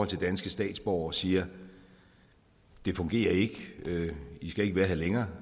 til danske statsborgere siger det fungerer ikke i skal ikke være her længere